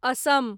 Assam